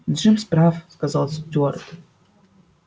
джимс прав сказал стюарт